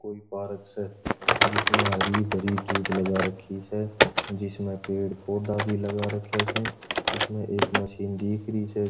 कोई पार्क स जिसमे हरी भरी धुब लगा राखी स जिसमे पेड़ पौधा भी लगा राख्या स जिसमे एक मशीन दिख रही छे।